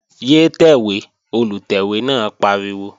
Yé tẹ̀wé! Olùtẹ̀wé náà pariwo